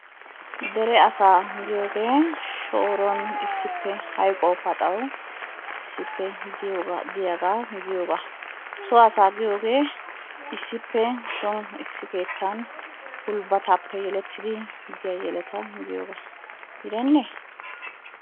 Dere asaa giyooge shooruwan issippe hayqquwaw paxaw issippe diyaaga giyooga, so asaa giyooge issippe soon issi keettan gulbbatappe yelettidi diya yeletta giyooga gidenne?